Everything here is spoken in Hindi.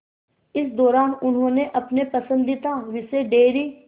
इस दौरान उन्होंने अपने पसंदीदा विषय डेयरी